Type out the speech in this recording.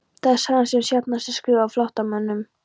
Það er sagan sem sjaldnast er skrifuð af flóttamönnum